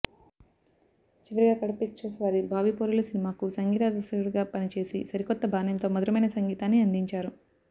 చివరిగా కడప పిక్చర్స్ వారి భావిపౌరులు సినిమాకు సంగీత దర్శకుడిగా పనిచేసి సరికొత్త బాణిలతో మధురమైన సంగీతాన్ని అందించారు